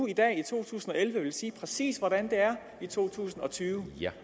i dag i to tusind og elleve sige præcis hvordan det er i to tusind og tyve